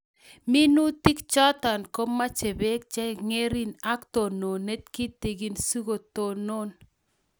Minutik chotok komache peek che ngering' ak tononet kitigin si kotonon